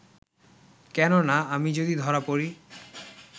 কেননা, আমি যদি ধরা পড়ি